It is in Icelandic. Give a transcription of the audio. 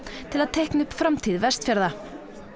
til að teikna upp framtíð Vestfjarða